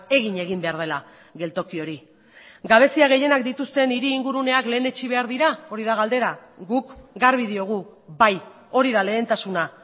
egin egin behar dela geltoki hori gabezia gehienak dituzten hiri ingurunean lehenetsi behar dira hori da galdera guk garbi diogu bai hori da lehentasuna